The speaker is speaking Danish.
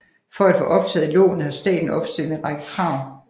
For at få optaget lånet har staten opstillet en række krav